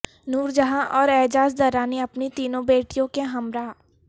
نور جہاں اور اعجاز درانی اپنی تینوں بیٹیوں کے ہمراہ